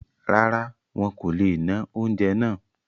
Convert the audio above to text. Rárá, wọn kò le ná oúnjẹ náà